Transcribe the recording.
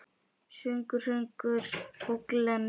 Söngur, sögur og glens.